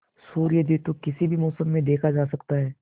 सूर्योदय तो किसी भी मौसम में देखा जा सकता है